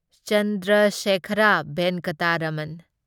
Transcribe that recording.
Chandrasekhara Venkata Raman